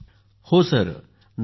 हो सर नक्कीच